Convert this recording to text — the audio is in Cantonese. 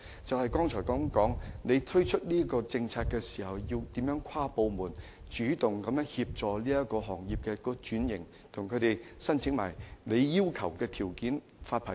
正如我剛才所說，政府推出有關政策時要協調各部門主動協助行業轉型及滿足政府所定的發牌條件。